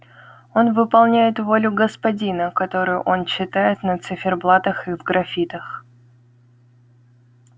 он выполняет волю господина которую он читает на циферблатах и в графитах